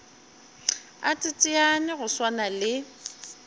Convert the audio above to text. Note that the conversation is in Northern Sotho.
a teteane go swana le